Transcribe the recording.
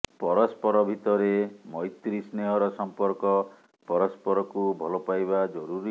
ପରସ୍ପର ଭିତରେ ମୈତ୍ରୀ ସ୍ନେହର ସମ୍ପର୍କ ପରସ୍ପରକୁ ଭଲପାଇବା ଜରୁରୀ